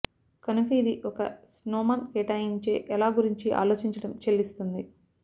కనుక ఇది ఒక స్నోమాన్ కేటాయించే ఎలా గురించి ఆలోచించడం చెల్లిస్తుంది